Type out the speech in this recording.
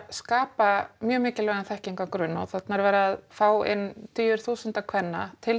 skapa mjög mikilvægan þekkingargrunn og þarna er verið að fá inn tugi þúsunda kvenna til